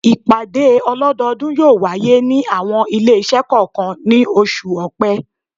Ìpàdé ọlọ́dọ́ọdún yóò wáyé ní àwọn ilé-iṣẹ́ kọ̀ọ̀kan ní oṣù Ọ̀pẹ.